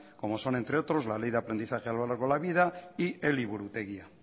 como son entre otros la ley de aprendizaje a lo largo de la vida y eliburutegia